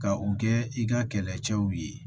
Ka u kɛ i ka kɛlɛcɛw ye